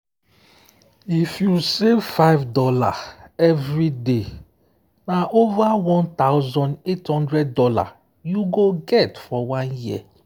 if you save $5 everyday na over $1800 you go get for one year.